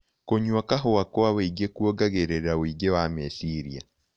Kũnyua kahũa kwa ũĩngĩ kũongagĩrĩra ũĩngĩ wa mechĩrĩa